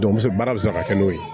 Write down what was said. baara bɛ se ka kɛ n'o ye